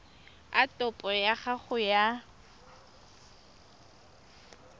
a topo ya gago ya